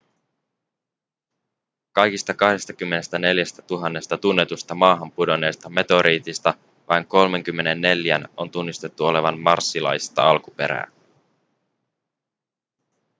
kaikista 24 000 tunnetusta maahan pudonneesta meteoriitista vain 34:n on tunnistettu olevan marsilaista alkuperää